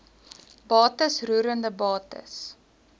bates roerende bates